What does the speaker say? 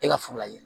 E ka furu la yen